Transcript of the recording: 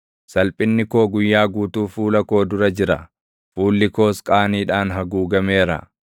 Salphinni koo guyyaa guutuu fuula koo dura jira; fuulli koos qaaniidhaan haguugameera.